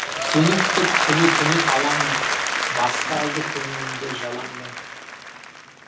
сені күтіп күні түні алаңмын басып алды көңілімді жалаң мұң